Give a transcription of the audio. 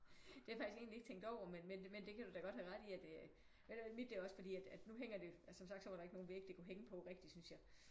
Det har jeg faktisk egentlig ikke tænkt over men men men det kan du da godt have ret i at øh mit det er også fordi at at nu hænger det altså som sagt var der ikke nogen vægge det kunne hænge på rigtigt synes jeg